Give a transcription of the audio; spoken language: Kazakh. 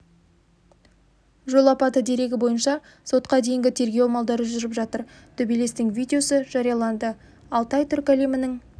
жол апаты дерегі бойынша сотқа дейінгі тергеу амалдары жүріп жатыр төбелестің видеосы жарияланды алтай түркі әлемінің